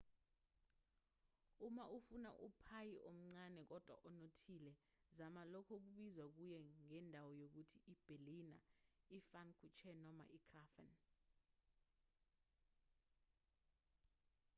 uma ufuna uphayi omncane kodwa onothile zama lokho okubizwa kuye ngendawo ngokuthi iberliner ipfannkuchen noma ikrapfen